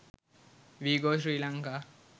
we go srilanka